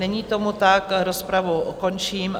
Není tomu tak, rozpravu končím.